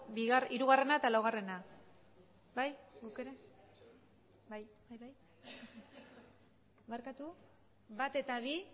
hirugarrena eta laugarrena bai barkatu bat eta bi